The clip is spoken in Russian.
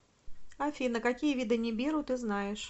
афина какие виды нибиру ты знаешь